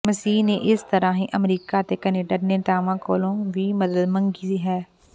ਮਸੀਹ ਨੇ ਇਸ ਤਰ੍ਹਾਂ ਹੀ ਅਮਰੀਕਾ ਅਤੇ ਕੈਨੇਡਾ ਦੇ ਨੇਤਾਵਾਂ ਕੋਲੋਂ ਵੀ ਮਦਦ ਮੰਗੀ ਹੈ